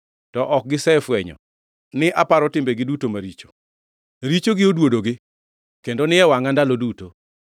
to ok gisefwenyo ni aparo timbegi duto maricho. Richogi oduodogi, kendo ni e wangʼa ndalo duto.